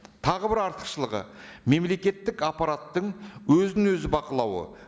тағы бір артықшылығы мемлекеттік аппараттың өзін өзі бақылауы